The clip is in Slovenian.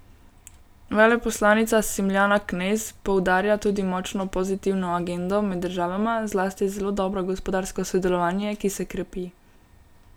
Veleposlanica Smiljana Knez poudarja tudi močno pozitivno agendo med državama, zlasti zelo dobro gospodarsko sodelovanje, ki se krepi.